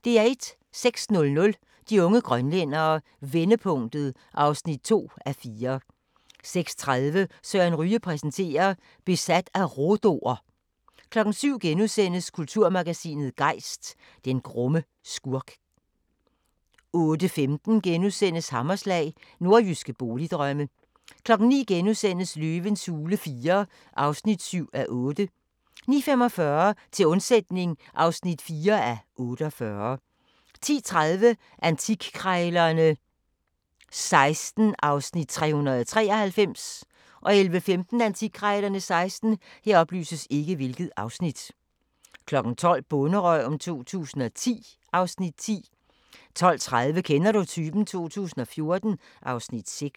06:00: De unge grønlændere – vendepunktet (2:4) 06:30: Søren Ryge præsenterer: Besat af rhodo'er 07:00: Kulturmagasinet Gejst: Den grumme skurk * 08:15: Hammerslag – Nordjyske boligdrømme * 09:00: Løvens hule IV (7:8)* 09:45: Til undsætning (4:48) 10:30: Antikkrejlerne XVI (Afs. 393) 11:15: Antikkrejlerne XVI 12:00: Bonderøven 2010 (Afs. 10) 12:30: Kender du typen? 2014 (Afs. 6)